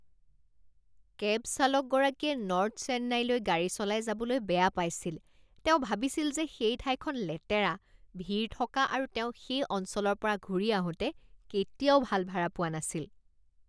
Cab চালকগৰাকীয়ে north চেন্নাইলৈ গাড়ী চলাই যাবলৈ বেয়া পাইছিল। তেওঁ ভাবিছিল যে সেই ঠাইখন লেতেৰা, ভিৰ থকা আৰু তেওঁ সেই অঞ্চলৰ পৰা ঘূৰি আহোতে কেতিয়াও ভাল ভাড়া পোৱা নাছিল।